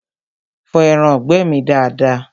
Fọ ẹraǹgbẹ́ mi dada!